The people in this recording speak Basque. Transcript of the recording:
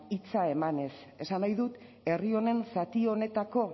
hitza emanez esan nahi dut herri honen zati honetako